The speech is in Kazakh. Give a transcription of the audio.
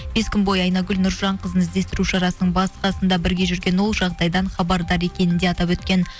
бес күн бойы айнагүл нұржанқызын іздестіру шарасының бас қасында бірге жүрген ол жағдайдан хабардар екенін де атап өткен